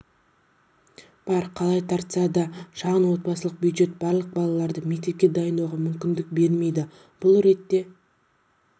бар қалай тартса да шағын отбасылық бюджет барлық балаларды мектепке дайындауға мүмкіндік бермейді бұл ретте